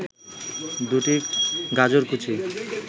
২টি গাজরকুচি